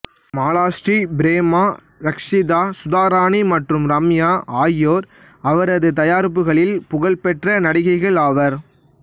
மாலாஷ்ரி பிரேமா ரக்சிதா சுதா ராணி மற்றும் ரம்யா ஆகியோர் அவரது தயாரிப்புகளில் புகழ் பெற்ற நடிகைகள் ஆவர்